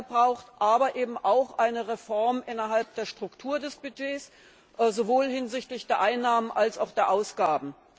braucht, aber eben auch eine Reform innerhalb der Struktur des Budgets, sowohl hinsichtlich der Einnahmen als auch der Ausgaben.